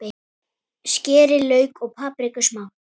Skerið lauk og papriku smátt.